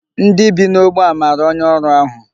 Ndị bi n'ógbè a mara onye ọrụ ahụ.